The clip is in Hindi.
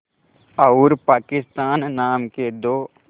और पाकिस्तान नाम के दो